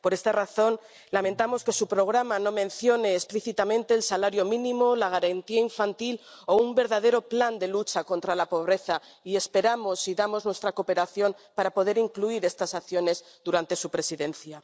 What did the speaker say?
Por esta razón, lamentamos que su programa no mencione explícitamente el salario mínimo, la garantía infantil o un verdadero plan de lucha contra la pobreza y esperamos y ofrecemos nuestra cooperación para poder incluir estas acciones durante su presidencia.